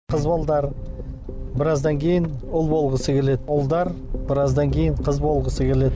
қыз балалар біраздан кейін ұл болғысы келеді ұлдар біраздан кейін қыз болғысы келеді